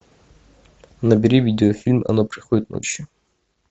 набери видеофильм она приходит ночь